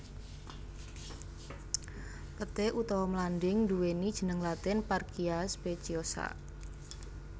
Peté utawa mlanding nduwéni jeneng latin Parkia speciosa